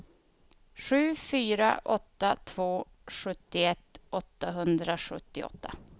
sju fyra åtta två sjuttioett åttahundrasjuttioåtta